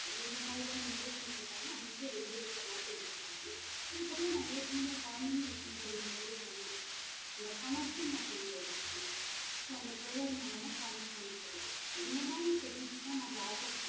எந்த மாறியான impress ன்னு சொல்றாங்களோ அன்னைக்கே வெளிய ஏத்துற மாறி ஒரு problem அதுக்கு அப்புறம் நான் ஏற்க்கனவே குழந்தைங்க விஷயம் சொல்லும் போதே சொன்னா இந்த connection அப்படிங்குற ஒரு விஷயம் so அந்த prayer மூலமா connect பண்ணிகிறது இந்த மாறி technique தா நம்ம offer பண்ணுறோம்